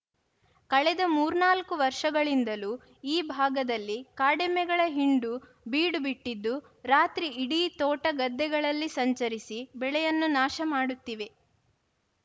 ಕಳೆದ ಮೂರ್ನಾಲ್ಕು ವರ್ಷಗಳಿಂದಲೂ ಈ ಭಾಗದಲ್ಲಿ ಕಾಡೆಮ್ಮೆಗಳ ಹಿಂಡು ಬೀಡು ಬಿಟ್ಟಿದ್ದು ರಾತ್ರಿ ಇಡೀ ತೋಟ ಗದ್ದೆಗಳಲ್ಲಿ ಸಂಚರಿಸಿ ಬೆಳೆಯನ್ನು ನಾಶ ಮಾಡುತ್ತಿವೆ